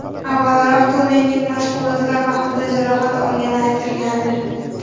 Avvalroq Tonining mashg‘ulotlar vaqtida jarohat olgani aytilgandi.